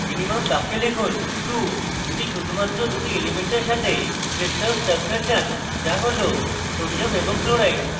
minimum box লিখুন 2 যদি আপনি শুধুমাত্র দুটি elements সাথে crystal structure চান যা হল sodium এবং chloride